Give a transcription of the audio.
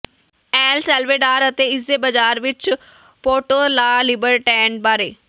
L Salvador ਅਤੇ ਇਸਦੇ ਬਾਜ਼ਾਰ ਵਿਚ ਪੋਰਟੋ ਲਾ ਲਿਬਰਟੈਡ ਬਾਰੇ